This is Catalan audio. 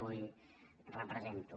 avui represento